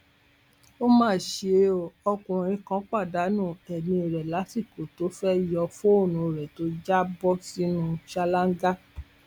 ó má ṣe ọ ọkùnrin kan pàdánù ẹmí rẹ lásìkò tó fẹẹ yọ fóònù rẹ tó já bọ sínú ṣáláńgá